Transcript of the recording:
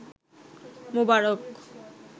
মোবারক